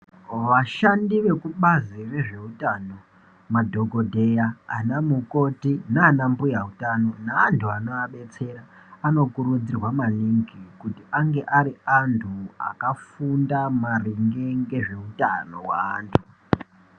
Vashandi vekubazi rezveutano madhongodheya ana mukoti nana mbuya hutano neantu anovabetsera , vanokurudzirwa maningi kuti ange ari antu akafunda maringe ngezvehutano weantu.